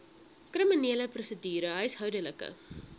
kriminele prosedure huishoudelike